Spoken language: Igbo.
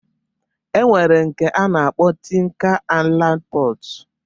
E nwere nke a na-akpọ Tin kan Ailand Pọt